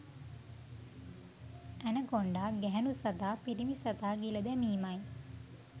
anaconda ගැහැණු සතා පිරිමි සතා ගිල දැමීමයි